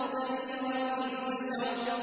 نَذِيرًا لِّلْبَشَرِ